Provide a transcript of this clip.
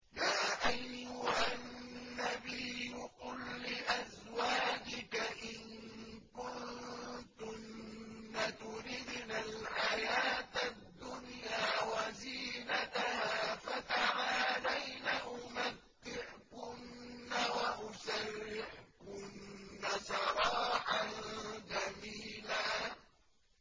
يَا أَيُّهَا النَّبِيُّ قُل لِّأَزْوَاجِكَ إِن كُنتُنَّ تُرِدْنَ الْحَيَاةَ الدُّنْيَا وَزِينَتَهَا فَتَعَالَيْنَ أُمَتِّعْكُنَّ وَأُسَرِّحْكُنَّ سَرَاحًا جَمِيلًا